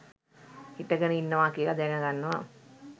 හිටගෙන ඉන්නවා කියල දැනගන්නවා.